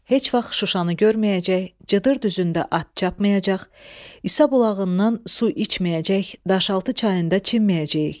heç vaxt Şuşanı görməyəcək, Cıdır düzündə at çapmayacaq, İsa bulağından su içməyəcək, Daşaltı çayında çimməyəcəyik.